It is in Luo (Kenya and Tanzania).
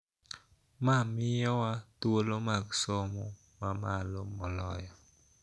Ma miyowa thuolo mag somo ma malo moloyo.